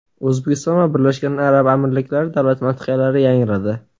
O‘zbekiston va Birlashgan Arab Amirliklari davlat madhiyalari yangradi.